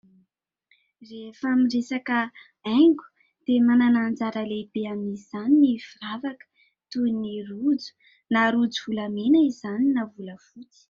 Regefa miresaka haingo dia manana anjara lehibe amin'izany ny firavaka toy ny rojo, na rojo volamena izany na volafotsy.